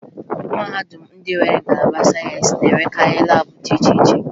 Mahadum ndị nwere ngalaba sayensị na-enwekarị laabụ dị iche iche